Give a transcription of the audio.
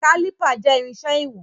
Kálìpà jẹ́ irinṣẹ́ ìwọ̀n.